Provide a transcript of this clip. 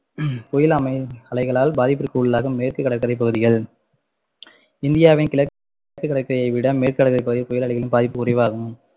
புயல அ~ அலைகளால் பாதிப்பிற்கு உள்ளாகும் மேற்கு கடற்கரை பகுதிகள் இந்தியாவின் கிழக்கு கடற்கரையைவிட மேற்கு கடற்கரை பகுதி புயல் அலைகளின் பாதிப்பு குறைவாகும்